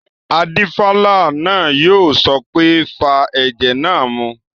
Adífálà náà yóò sọ pé "fa ẹ̀jẹ̀ náà mu!"